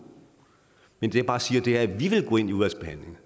men det jeg bare siger er at vi